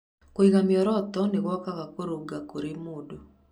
Kũiga mĩoroto nĩ gwakaga kũrũnga kũrĩ mũndũ.